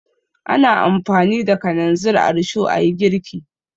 Ana amfani da kananzir a risho a yi girki.